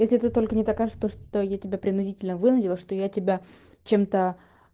если ты только не докажешь то что я тебя принудительно вынудила что я тебя чем-то